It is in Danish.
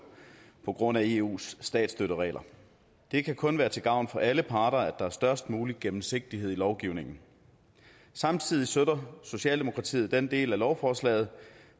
på grund af eus statsstøtteregler det kan kun være til gavn for alle parter at der er størst mulig gennemsigtighed i lovgivningen samtidig støtter socialdemokratiet den del af lovforslaget